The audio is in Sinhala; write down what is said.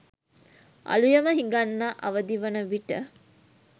අළුයම හිඟන්නා අවදිවන විට